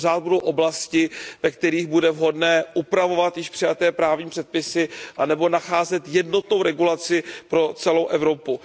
Pořád budou oblasti, ve kterých bude vhodné upravovat již přijaté právní předpisy anebo nacházet jednotnou regulaci pro celou Evropu.